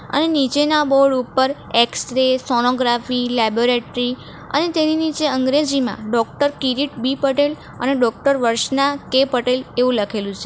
અને નીચેના બોર્ડ ઉપર એક્સ રે સોનોગ્રાફી લેબોરેટરી અને તેની નીચે અંગ્રેજીમાં ડોક્ટર કિરીટ બી પટેલ અને ડોક્ટર વર્ષના કે પટેલ એવું લખેલું છે.